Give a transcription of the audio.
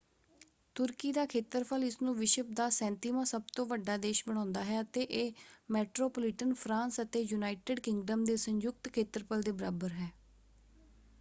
ਤੁਰਕੀ ਦਾ ਖੇਤਰਫਲ ਇਸਨੂੰ ਵਿਸ਼ਵ ਦਾ 37ਵਾਂ ਸਭ ਤੋਂ ਵੱਡਾ ਦੇਸ਼ ਬਣਾਉਂਦਾ ਹੈ ਅਤੇ ਇਹ ਮੈਟਰੋਪੋਲੀਟਨ ਫਰਾਂਸ ਅਤੇ ਯੂਨਾਈਟਿਡ ਕਿੰਗਡਮ ਦੇ ਸੰਯੁਕਤ ਖੇਤਰਫਲ ਦੇ ਬਰਾਬਰ ਹੈ।